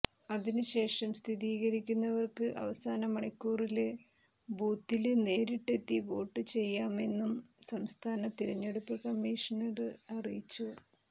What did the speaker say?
അതിനു ശേഷം സ്ഥിരീകരിക്കുന്നവര്ക്ക് അവസാനമണിക്കൂറില് ബൂത്തില് നേരിട്ടെത്തി വോട്ട് ചെയ്യാമെന്നും സംസ്ഥാന തിരഞ്ഞെടുപ്പ് കമ്മിഷണര് അറിയിച്ചു